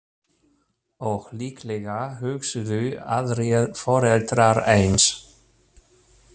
Og líklega hugsuðu aðrir foreldrar eins.